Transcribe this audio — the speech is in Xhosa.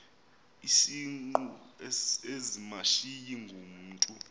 izingqu ezimashiyi ngumntu